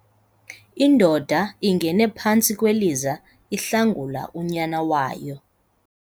Indoda ingene phantsi kweliza ihlangula unyana wayo.